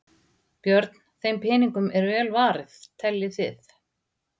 Björn: Þeim peningum er vel varið teljið þið?